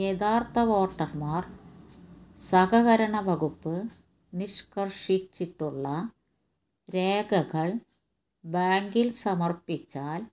യഥാർഥ വോട്ടര്മാര് സഹകരണ വകുപ്പ് നിഷ്കര്ഷിച്ചിട്ടുള്ള രേഖകള് ബാങ്കില് സമര്പ്പിച്ചാല്